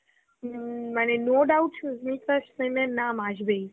উম মানে no doubt সুস্মিতার ছেলের নাম আসবেই